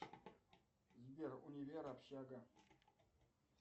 сбер универ общага